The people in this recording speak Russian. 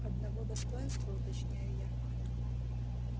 одного достоинства уточняю я